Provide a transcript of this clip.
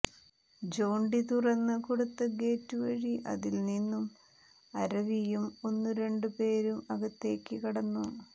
Jonty തുറന്നു കൊടുത്ത gate വഴി അതിൽ നിന്നും അരവിയും ഒന്നു രണ്ട് പേരും അകത്തേയ്ക്ക് കടന്നു